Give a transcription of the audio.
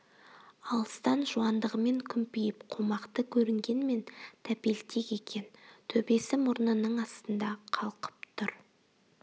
алыстан жуандығымен күмпиіп қомақты көрінгенмен тәпелтек екен төбесі мұрнының астында қалқып тұр